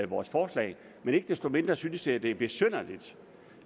vores forslag men ikke desto mindre synes jeg det er besynderligt